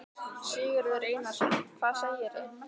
Sigurður Einarsson: Hvað segirðu?